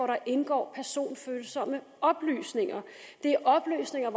der indgår personfølsomme oplysninger det er oplysninger